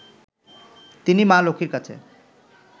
তিনি মা লক্ষ্মীর কাছে